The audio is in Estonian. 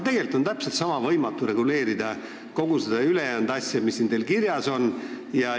Tegelikult on täpselt sama võimatu reguleerida kogu ülejäänud asja, mis teil siin kirjas on.